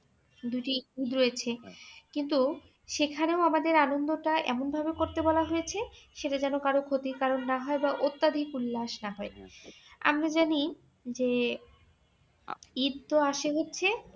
দুইটি ইদ রয়েছে কিন্তু সেখানেও আমাদের আনন্দটা এমন ভাবে করতে বলা হয়েছে সেটা যেন কারোর ক্ষতির কারন না হয় বা অত্যাধিক উল্লাস না হয় আমরা জানি যে ঈদ তো আসে হচ্ছে